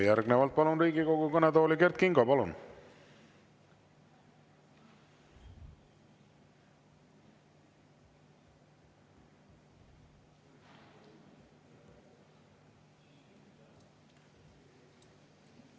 Järgnevalt palun Riigikogu kõnetooli Kert Kingo!